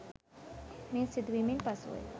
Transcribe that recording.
මේ සිදුවීමෙන් පසුවය.